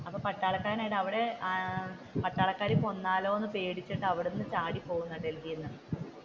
അപ്പൊ പട്ടാളക്കാർ പട്ടാളക്കാർ കൊന്നാലോ എന്ന് പേടിച്ചിട്ടു അവിടെ നിന്ന് ചാടി പോകുന്നത ഡൽഹിയിൽ നിന്ന്